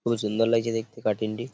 খুবই সুন্দর লাগছে দেখতে কাটিংটি ।